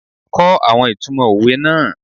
Kó àwọn ìtumò òwe náà.